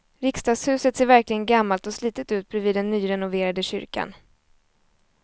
Riksdagshuset ser verkligen gammalt och slitet ut bredvid den nyrenoverade kyrkan.